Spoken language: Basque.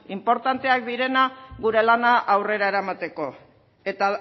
inportanteak direnak gure lana aurrera eramateko